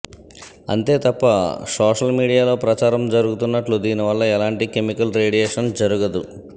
అంతే తప్ప సోషల్ మీడియాలో ప్రచారం జరుగుతున్నట్లు దీనివల్ల ఎలాంటి కెమికల్ రేడియేషన్ జరగదు